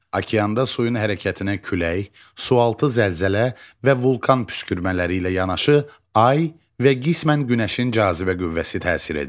Okeanda suyun hərəkətinə külək, sualtı zəlzələ və vulkan püskürmələri ilə yanaşı ay və qismən günəşin cazibə qüvvəsi təsir edir.